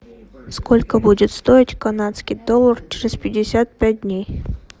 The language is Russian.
сколько будет стоить канадский доллар через пятьдесят пять дней